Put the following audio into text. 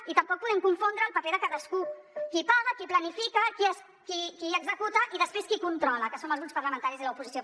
i tampoc podem confondre el paper de cadascú qui paga qui planifica qui executa i després qui controla que som els grups parlamentaris i l’oposició